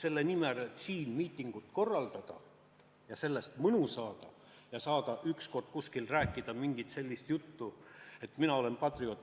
Ja kõik lasti käest selle nimel, et miitingut korraldada ja sellest mõju saada ja kunagi kuskil rääkida mingisugust sellist juttu, et mina olen patrioot.